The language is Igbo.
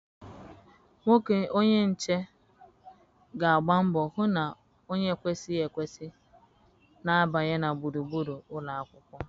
Nwoke onye nche ga-agba mbọ hụ na onye ekwesịghị ekwesị na-abanye na gburugburu ụlọ akwụkwọ.